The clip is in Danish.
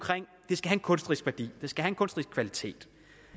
kunstnerisk kvalitet